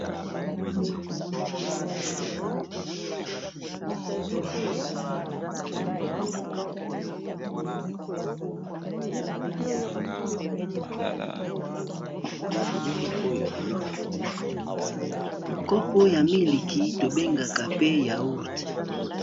Kopo ya miliki tobengaka pe yango yaourt.